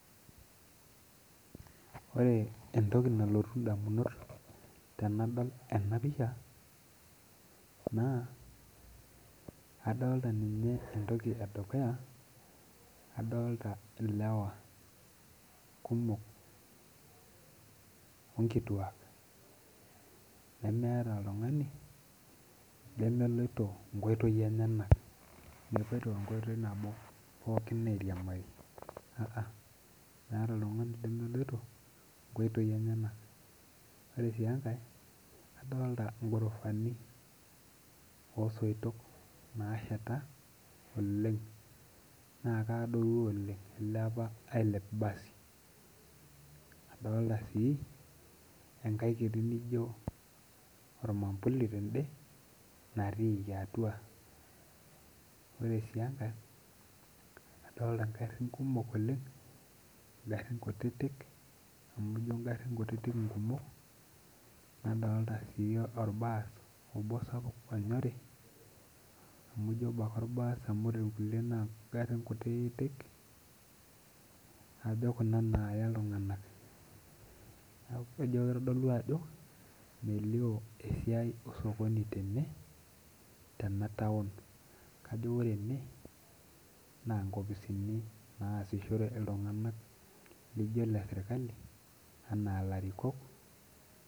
Ore entoki nalotu indamunot tenadol ena pisha naa adolta ninye entoki edukuya adolta ilewa kumok onkituak nemeeta oltung'ani lemeloito inkoitoi enyenak mepuoito enkoitoi nabo pookin airiamari uh-uh meeta oltung'ani lemeloito inkoitoi enyenak ore sii enkae adolta inghorofani osoitok nasheta oleng naa kaadoru oleng ilepa ailep basi adolta sii enkae kiti nijo ormambuli tende natiiki atua ore sii enkae adolta ingarrin kumok oleng ingarrin kutitik amu ijio ingarrin kutitik inkumok nadolta sii orbaas obo sapuk onyori amu ijio obo ake orbas amu ijio ore irkulie naa ingarrin kutitik ajo kuna naaya iltung'anak ajo kitodolu ajo melio esiai osokoni tene tena town kajo ore ene naa nkopisini naasishore iltung'anak lijo ile sirkali anaa ilarikok.